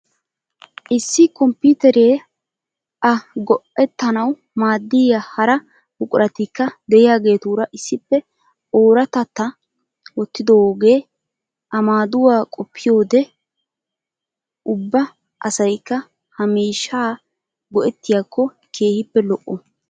Issi kompiiteriya a go'ettanawu maaddiya hara buquratikka de'iyageetuura issippe oorattata wottididoogee a maaduwa qoppiyoode ubba asayikka ha miishshaa go'ettiyaakko keehippe lo'o!